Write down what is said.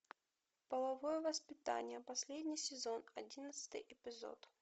половое воспитание последний сезон одиннадцатый эпизод